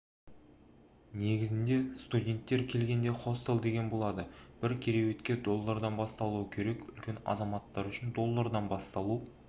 негізінде студенттер келгенде хостел деген болады бір кереуетке доллардан басталу керек үлкен азаматтар үшін доллардан басталу